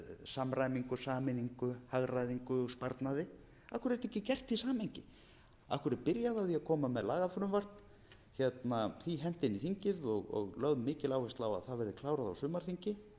samræmingu og sameiningu hagræðingu og sparnaði af hverju er þetta ekki gert í samhengi af hverju er byrjað á því að koma með lagafrumvarp því hent inn í þingið og lögð mikil áhersla á að það verði klárað á sumarþingi